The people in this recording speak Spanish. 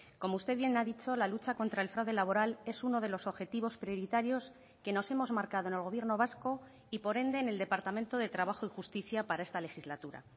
como usted bien ha dicho la lucha contra el fraude laboral es uno de los objetivos prioritarios que nos hemos marcado en el gobierno vasco y por ende en el departamento de trabajo y justicia para esta legislatura